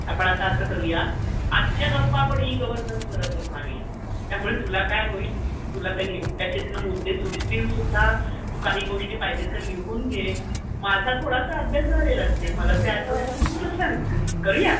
आपण आता असं करूया, आजच्या गप्पा आपण ई गव्हरनन्सवर मारूया. त्यामुळे तुला काय होईल, तुला त्याच्यातले मुद्दे सुचतीलसुद्धा, तू काही गोष्टी पाहिजे तर लिहून घे. माझा थोडासा अभ्यास झालेलाच आहे. मला जे आठवतं ते मी तुला सांगते. करूया?